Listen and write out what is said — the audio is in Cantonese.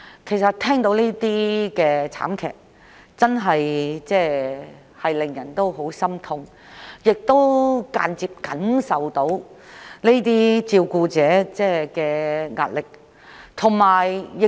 其實，每次聽聞這類慘劇，便真的十分心痛，亦能感受到這些照顧者所承受的壓力。